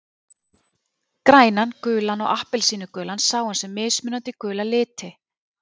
Grænan, gulan og appelsínugulan sá hann sem mismunandi gula liti.